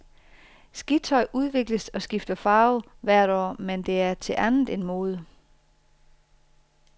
Skitøj udvikles og skifter farve hvert år, men det er til andet end mode.